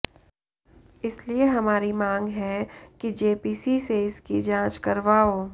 इसलिए हमारी मांग है कि जेपीसी से इसकी जांच करवाओ